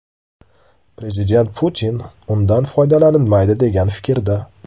Prezident Putin undan foydalanilmaydi degan fikrda.